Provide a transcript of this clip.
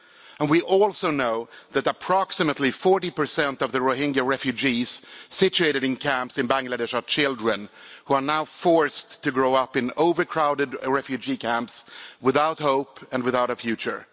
And we also know that approximately 40 of the Rohingya refugees situated in camps in Bangladesh are children, who are now forced to grow up in overcrowded refugee camps, without hope and without a future.